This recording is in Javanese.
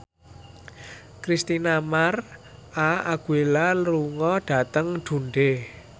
Christina Mar��a Aguilera lunga dhateng Dundee